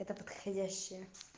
эта подходящая